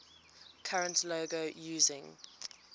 current logo using